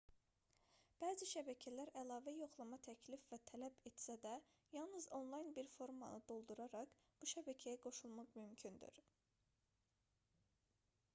bəzi şəbəkələr əlavə yoxlama təklif və tələb etsə də yalnız onlayn bir formanı dolduraraq bu şəbəkəyə qoşulmaq mümkündür